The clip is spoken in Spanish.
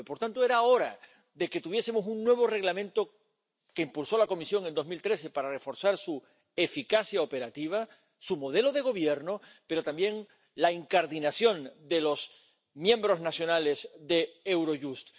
2009. Por tanto, era hora de que tuviésemos un nuevo Reglamento, que impulsó la Comisión en 2013 para reforzar su eficacia operativa, su modelo de gobierno, pero también la incardinación de los miembros nacionales de Eurojust.